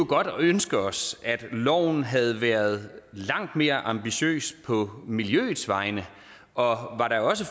godt ønske os at loven havde været langt mere ambitiøs på miljøets vegne og